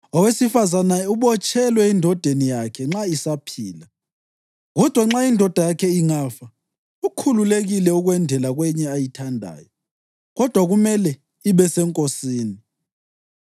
Owesifazane ubotshelwe endodeni yakhe nxa isaphila. Kodwa indoda yakhe ingafa, ukhululekile ukwendela kwenye ayithandayo, kodwa kumele ibe seNkosini.